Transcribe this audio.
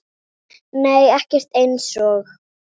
Nei ekkert eins og